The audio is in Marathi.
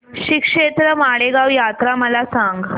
श्रीक्षेत्र माळेगाव यात्रा मला सांग